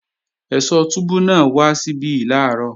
Ẹ̀sọ́ túbú náà wá síbí làárọ̀